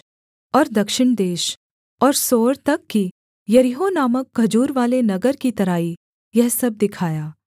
और दक्षिण देश और सोअर तक की यरीहो नामक खजूरवाले नगर की तराई यह सब दिखाया